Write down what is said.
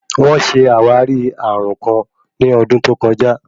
Wón ṣe àwárí ààrùn kàn ní ọdún tó kọjá.